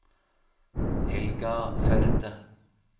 Helga Førde